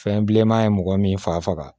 Fɛn bilenman ye mɔgɔ min fa faga